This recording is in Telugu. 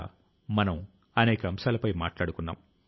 మనం చాలా నేర్చుకోవాలి